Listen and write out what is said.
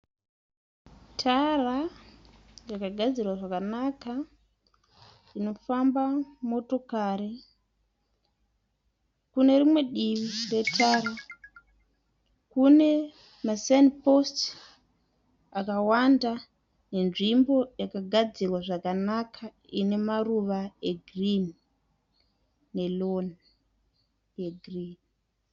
Tara yakagadzirwa zvakanaka inofamba motokari . Kune rimwe divi retara kune ma saini post akawanda, nenzvimbo yakagadzirwa zvakanaka ine maruva e girinhi ne tsangadzi ye girinhi.